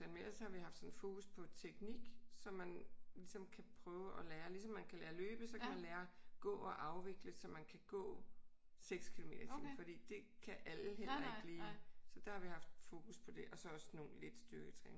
Men ellers har vi haft sådan fokus på teknik så man kan ligesom kan prøve at lære ligesom man kan lære at løbe så kan man lære at gå og afvikle så man kan gå 6 kilometer i timen. Fordi det kan alle heller ikke lige. Så der har vi haft fokus på det og så også lidt styrketræning